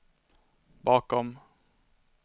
bakom